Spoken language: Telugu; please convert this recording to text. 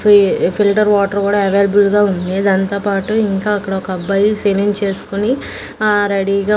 ఫి ఫిల్టర్ వాటర్ కూడా అవైలబుల్ గా ఉంది దాంతో పాటు ఇంకా అక్కడ ఒక అబ్బాయి షేవింగ్ చేస్కొని ఆ రెడీ గా--